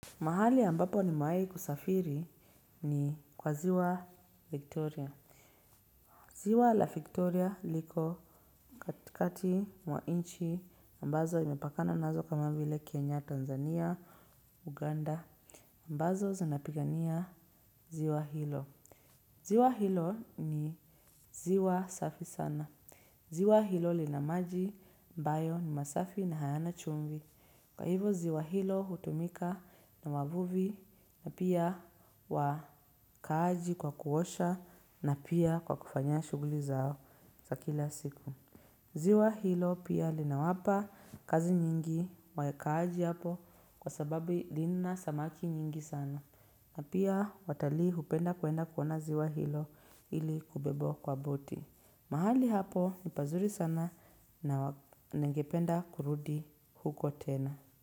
Mahali ambapo nimewai kusafiri ni kwa ziwa Victoria. Ziwa la Victoria liko katikati mwa nchi ambazo imepakana nazo kama vile Kenya, Tanzania, Uganda. Ambazo zanapigania ziwa hilo. Ziwa hilo ni ziwa safi sana. Ziwa hilo lina maji ambayo ni masafi na hayana chumvi. Kwa hivyo ziwa hilo hutumika na wavuvi na pia wakaaji kwa kuosha na pia kwa kufanya shughuli zao za kila siku. Ziwa hilo pia linawapa kazi nyingi wakaaji hapo kwa sababi lina samaki nyingi sana. Na pia watalii hupenda kuenda kuona ziwa hilo ili kubebwa kwa boti. Mahali hapo, ni pazuri sana na ningependa kurudi huko tena.